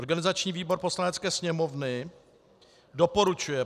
Organizační výbor Poslanecké sněmovny doporučuje